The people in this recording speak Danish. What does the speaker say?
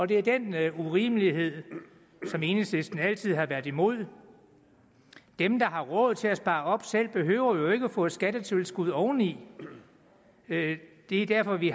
det er den urimelighed som enhedslisten altid har været imod dem der har råd til at spare op selv behøver jo ikke at få et skattetilskud oveni det er derfor vi